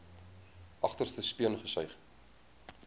agterste speen gesuig